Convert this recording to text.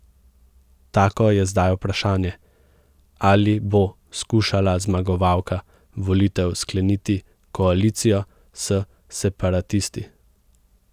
Tako je zdaj vprašanje, ali bo skušala zmagovalka volitev skleniti koalicijo s separatisti.